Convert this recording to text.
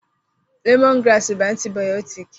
Lemọn graasị bụ antibayọtiki.